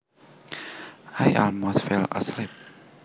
I almost fell asleep